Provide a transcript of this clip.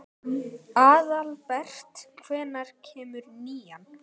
Aðalbert, hvenær kemur nían?